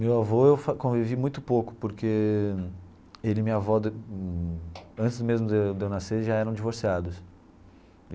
Meu avô eu convivi muito pouco, porque ele e minha avó de, antes mesmo de eu de eu nascer, já eram divorciados.